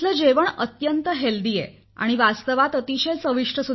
तेथील जेवण अत्यंत आरोग्यसंपन्न होतं आणि वास्तवात अतिशय चविष्ट आहे